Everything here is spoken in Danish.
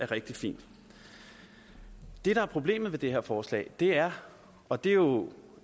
rigtig fin det der er problemet ved det her forslag er og det er jo